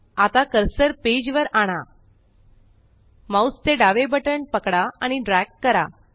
आता cursor page वर आणा जीटीजीटी माउस चे डावे बटण पकडा आणि ड्रॅग करा